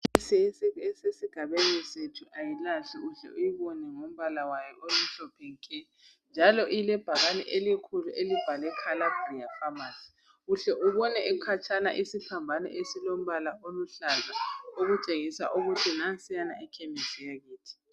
Ikhemisi Esesigabeni sethu ayilahli uhle uyibone ngombala wayo omhlophe nke njalo ilebhakane elikhulu elibhalwe kababia famasi uhle ubone ukhatshana isiphambano esilombala oluhlaza okutshengisa ukuthi nansiyana ikhemisi yakithi